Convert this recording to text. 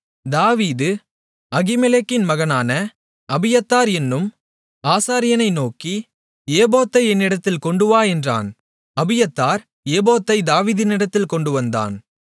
தாவீது அகிமெலேக்கின் மகனான அபியத்தார் என்னும் ஆசாரியனை நோக்கி ஏபோத்தை என்னிடத்தில் கொண்டுவா என்றான் அபியத்தார் ஏபோத்தைத் தாவீதினிடத்தில் கொண்டுவந்தான்